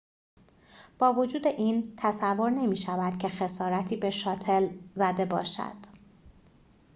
با وجود این تصور نمی‌شود که خسارتی به شاتل زده باشد